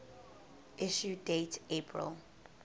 issue date april